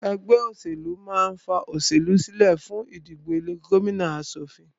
Ẹgbẹ́ òṣèlú máà ń ní fa olóṣèlú sílẹ fún ìdìbò ilé ìgbìmọ̀ aṣòfin